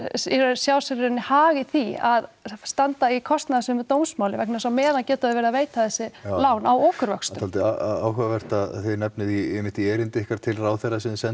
sjá sér í raun hag í því að standa í kostnaðarsömu dómsmáli vegna þess að á meðan geta þau verið að veita þessi lán á okurvöxtum dálítið áhugavert að þið nefnið einmitt í erindi ykkar til ráðherra sem þið